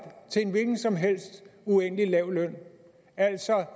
til en hvilken som helst uendelig lav løn